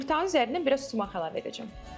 Yumurtanın üzərinə biraz sumax əlavə edəcəm.